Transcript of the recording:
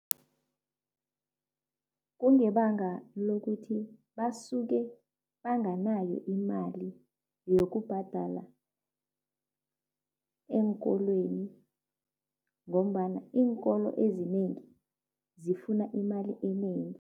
Kungebanga lokuthi basuke banganayo imali yokubhadala eenkolweni ngombana iinkolo ezinengi zifuna imali enengi.